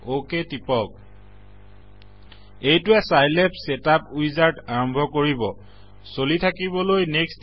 অক টিপক এইটোৱে Scilab setup wizard আৰম্ভ কৰিব চলি থাকিবলৈ নেক্সট